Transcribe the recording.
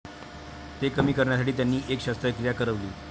ते कमी करण्यासाठी त्यांनी एक शस्त्रक्रिया करविली.